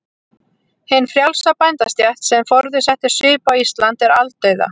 Hin frjálsa bændastétt, sem forðum setti svip á Ísland, er aldauða.